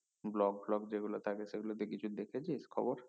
block টোলগ যে গুলো থাকে সেগুলোতে কিছু দেখেছিস খবর